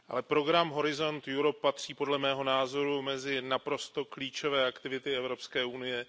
Program Horizont Europe patří podle mého názoru mezi naprosto klíčové aktivity Evropské unie.